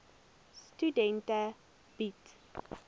studente bied